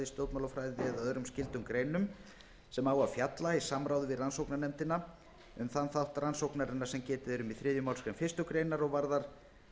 stjórnmálafræði eða öðrum skyldum greinum sem fjallar í samráði við rannsóknarnefndina um þann þátt rannsóknarinnar sem getið er í þriðju málsgrein fyrstu grein og varðar